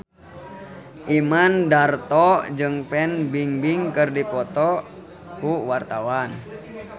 Imam Darto jeung Fan Bingbing keur dipoto ku wartawan